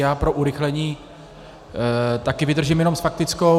Já pro urychlení také vydržím jenom s faktickou.